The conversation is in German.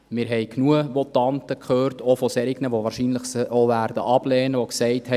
Wir haben genügend Votanten gehört, auch solche, die sie wahrscheinlich ablehnen werden, die gesagt haben: